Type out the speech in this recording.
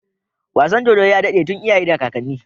Wasan dodo ya dade tun iyaye da kakanni